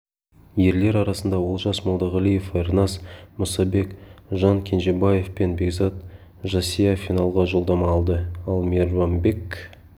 ерлер арасында олжас молдағалиев ерназ мұсабек жан кенжебаев пен бекзат жасия финалға жолдама алды ал мейрамбек